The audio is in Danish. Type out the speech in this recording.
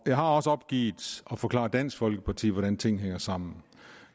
jeg har også opgivet at forklare dansk folkeparti hvordan tingene hænger sammen